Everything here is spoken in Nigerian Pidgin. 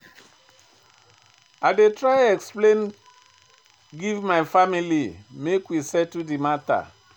I dey try explain give my family make we settle di mata.